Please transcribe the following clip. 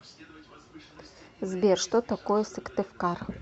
сбер что такое сыктывкар